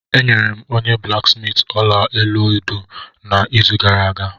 Enyere m onye blaksmiiti ọla olu edo m n'izu gara aga